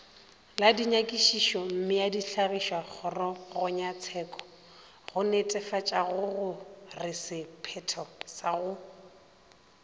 la dinyakišišommeadihlagišakgorongyatsheko gonetefatšagoresephetho sa go